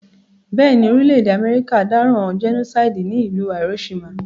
Béèni, orílẹ̀dè America dáràn genocide ní ìlú Hiroshima